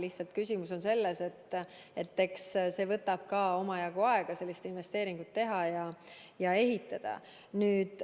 Lihtsalt küsimus on selles, et võtab omajagu aega, et sellist investeeringut teha ja jaam ehitada.